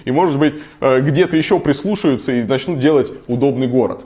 и может быть где-то ещё прислушаются и начнут делать удобный город